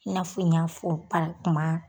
I n'a fɔ n y'a fɔ parakmaa